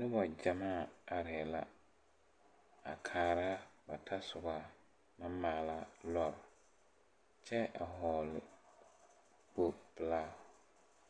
Nobɔ gyamaa areɛɛ la a kaara ba tasobɔ naŋ maala lɔre kyɛ a hɔɔle kpogpilaa